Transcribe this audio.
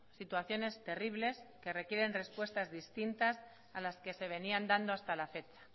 situaciones terribles que requieren respuestas distintas a las que se venían dando hasta la fecha